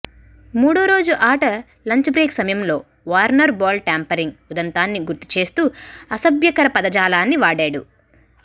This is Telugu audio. మూడో రోజు ఆట లంచ్ బ్రేక్ సమయంలో వార్నర్ బాల్ ట్యాంపరింగ్ ఉదంతాన్ని గుర్తు చేస్తూ అసభ్యకర పదజాలాన్ని వాడాడు